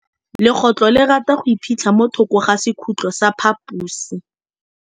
Legôtlô le rata go iphitlha mo thokô ga sekhutlo sa phaposi.